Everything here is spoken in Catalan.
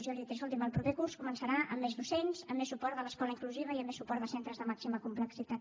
jo li he dit escolti’m el proper curs començarà amb més docents amb més suport de l’escola inclusiva i amb més suport de centres de màxima complexitat